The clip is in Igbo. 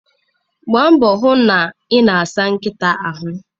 Gbaa mbọ hụ na ị na-asa nkịta ahụ.